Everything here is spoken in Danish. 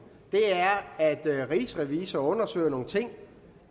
er at rigsrevisor undersøger nogle ting